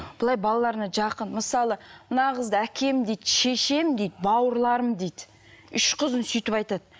былай балаларына жақын мысалы мына қызды әкем дейді шешем дейді бауырларым дейді үш қызын сөйтіп айтады